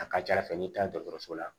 A ka ca ala fɛ n'i taara dɔgɔtɔrɔso la